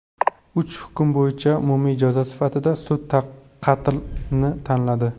Uch hukm bo‘yicha umumiy jazo sifatida sud qatlni tanladi.